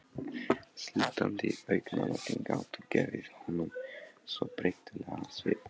Slútandi augnalokin gátu gefið honum svo þreytulegan svip.